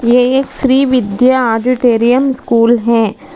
ये एक Shri Vidya auditorium school है।